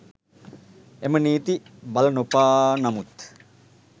එම නීති බලනොපාන නමුත්